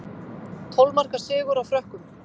Tólf marka sigur á Frökkum